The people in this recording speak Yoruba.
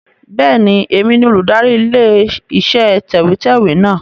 Bẹ́ẹ̀ni, èmi ni olùdarí ilé iṣẹ́ tẹ̀wẹ́tẹ́wẹ́ náà.